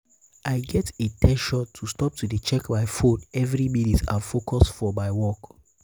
i get in ten tion to stop to dey check my phone every minute and focus for my work.